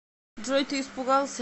джой ты испугался